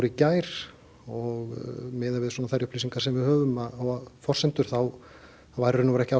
í gær og miðað við þær upplýsingar sem við höfum og forsendur þá voru ekki